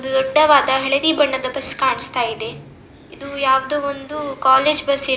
ಒಂದು ದೊಡ್ಡವಾದ ಹಳದಿ ಬಣ್ಣದ ಬಸ್ ಕಾಣಿಸ್ತಾ ಇದೆ ಇದು ಯಾವ್ದೋ ಒಂದು ಕಾಲೇಜು ಬಸ್ ಇ --